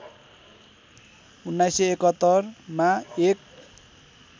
१९७१ मा १